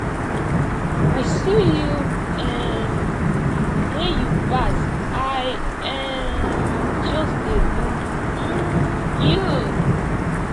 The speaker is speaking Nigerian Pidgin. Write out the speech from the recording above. i see you um wen you pass i um just dey look um you